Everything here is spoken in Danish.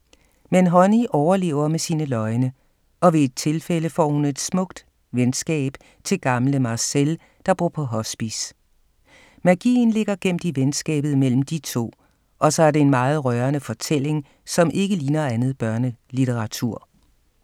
Men Honey overlever med sine løgne, og ved et tilfælde får hun et smukt venskab til gamle Marcel, der bor på hospice. Magien ligger gemt i venskabet mellem de to, og så er det en meget rørende fortælling, som ikke ligner andet børnelitteratur.